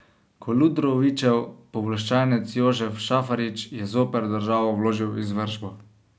Koludrovićev pooblaščenec Jožef Šafarič je zoper državo vložil izvršbo.